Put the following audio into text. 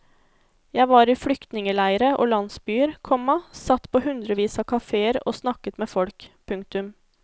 Jeg var i flyktningeleire og landsbyer, komma satt på hundrevis av kafeer og snakket med folk. punktum